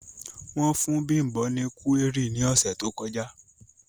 Wọn fun Bimbo ni kuwéri ni ọsẹ to kọja.